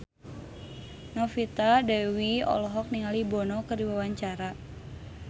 Novita Dewi olohok ningali Bono keur diwawancara